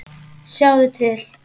Sjáðu til.